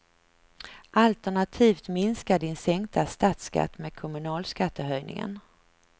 Alternativt minska din sänkta statsskatt med kommunalskattehöjningen.